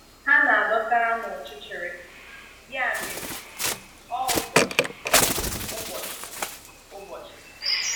Ha na-dọ̀tàrà na ọchịchịrị, ya mere, ọ́ ụbọchị ụbọchị ụbọchị.